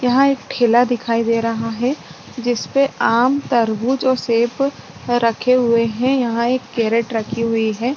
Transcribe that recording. यहां एक ठेला दिखाई दे रहा है जिस पे आम तरबूज और सेब रखे हुए हैं यहां एक कैरेट रखी हुई है।